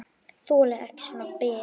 Þoli ekki svona bið.